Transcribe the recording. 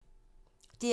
DR1